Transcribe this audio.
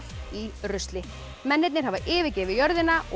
í rusli mennirnir hafa yfirgefið jörðina og